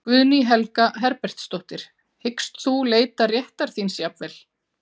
Guðný Helga Herbertsdóttir: Hyggst þú leita réttar þíns jafnvel?